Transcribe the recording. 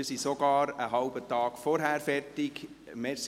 Wir sind sogar einen halben Tag früher fertig geworden.